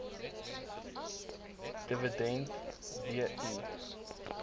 dividend d i